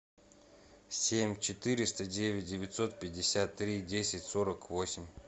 семь четыреста девять девятьсот пятьдесят три десять сорок восемь